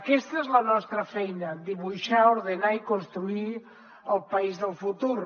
aquesta és la nostra feina dibuixar ordenar i construir el país del futur